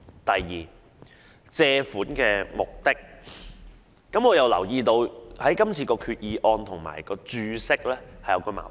第二是借款目的，我留意到今次的決議案與註釋有矛盾。